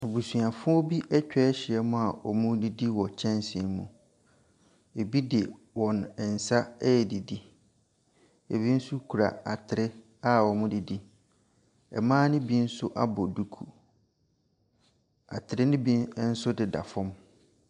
Abusuafoɔ bi atwa ahyia mu a wɔredidi wɔ kyɛnsee mu. Ɛbi de wɔn nsa redidi, ɛbi nso kura atere a wɔde di. Mmaa no bi nso abɔ duku. Atere no bi nso deda fam.